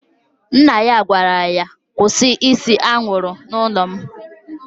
Nna ya gwara ya, kwụsị ịse anwụrụ n'ụlọ m!